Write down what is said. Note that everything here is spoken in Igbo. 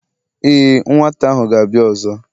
e, nwata ahu gābia ọzọ